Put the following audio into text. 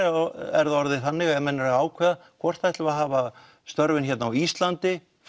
er það orðið þannig að menn eru að ákveða hvort þeir ætli að hafa störfin hér á Íslandi